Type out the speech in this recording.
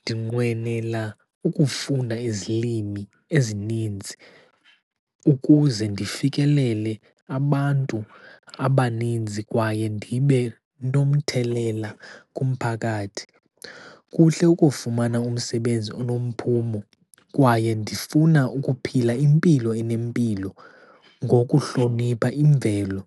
Ndinqwenela ukufunda izilimi ezininzi ukuze ndifikelele abantu abaninzi kwaye ndibe nomthelela kumphakathi. Kuhle ukufumana umsebenzi onomphumo, kwaye ndifuna ukuphila impilo enempilo ngokuhlonipha imvelo.